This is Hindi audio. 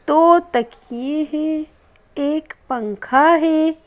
दो तकिए हैं एक पंखा है।